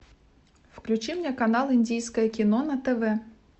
включи мне канал индийское кино на тв